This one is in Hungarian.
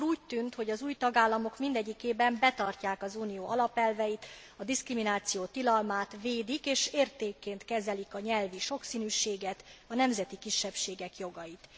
Akkor úgy tűnt, hogy az új tagállamok mindegyikében betartják az Unió alapelveit, a diszkrimináció tilalmát, védik és értékként kezelik a nyelvi sokszínűséget, a nemzeti kisebbségek jogait.